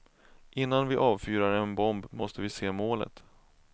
Innan vi avfyrar en bomb måste vi se målet.